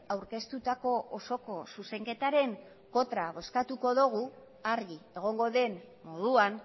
aurkeztutako osoko zuzenketaren kontra bozkatuko dugu argi egongo den moduan